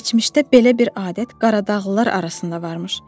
Keçmişdə belə bir adət Qaradağlılar arasında varmış.